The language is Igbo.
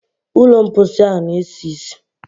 Ụlọ mposi ahụ na-esi ísì.